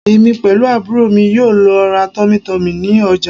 Èmi pẹ̀lú àbúrò mi yóò lọ ra Tummy tummy ní ọjà